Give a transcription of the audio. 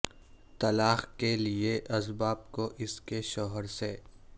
طلاق کے لئے اسباب کو اس کے شوہر سے